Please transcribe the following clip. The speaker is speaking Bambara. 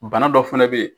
Bana dɔ fɛnɛ bɛ ye